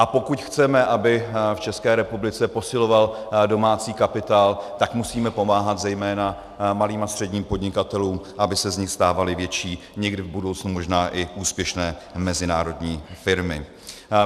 A pokud chceme, aby v České republice posiloval domácí kapitál, tak musíme pomáhat zejména malým a středním podnikatelům, aby se z nich stávaly větší, někdy v budoucnu možná i úspěšné mezinárodní firmy.